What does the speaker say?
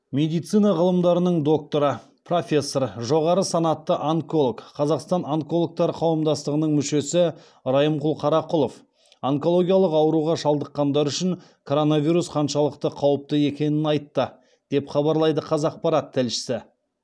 медицина ғылымдарының докторы профессор жоғары санатты онколог қазақстан онкологтары қауымдастығының мүшесі райымқұл қарақұлов онкологиялық ауруға шалдыққандар үшін коронавирус қаншалықты қауіпті екенін айтты деп хабарлайды қазақпарат тілшісі